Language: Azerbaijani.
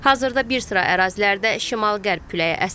Hazırda bir sıra ərazilərdə şimal-qərb küləyi əsir.